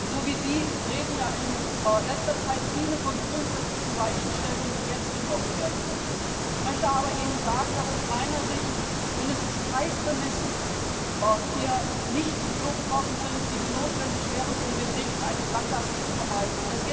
So wie Sie reden ja in letzter Zeit auch viele andere von grundsätzlichen Weichenstellungen, die jetzt getroffen werden müssen. Ich möchte Ihnen aber sagen, dass aus meiner Sicht mindestens drei Prämissen hier nicht so erfüllt sind, wie sie notwendig wären, um den Weg in eine Sackgasse zu vermeiden.